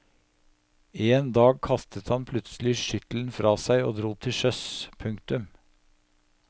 En dag kastet han plutselig skyttelen fra seg og dro til sjøs. punktum